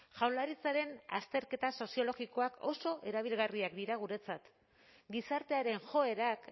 jaurlaritzaren azterketa soziologikoak oso erabilgarriak dira guretzat gizartearen joerak